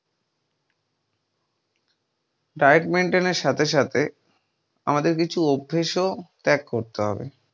diet maintain সাথে সাথে আমাদের কিছু‌ অভ্যেস ওই ত্যাগ করতে হবে।